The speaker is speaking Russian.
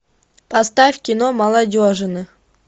поставь кино молодежное